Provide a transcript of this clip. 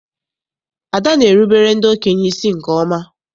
Ada na-erubere ndị okenye isi nke ọma.